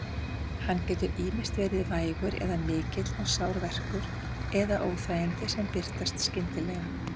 Hann getur ýmist verið vægur eða mikill og sár verkur eða óþægindi sem birtast skyndilega.